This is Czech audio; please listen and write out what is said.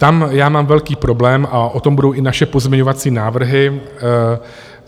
Tam já mám velký problém, a o tom budou i naše pozměňovací návrhy.